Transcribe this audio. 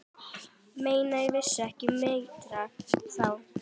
Menn vissu ekki betur þá.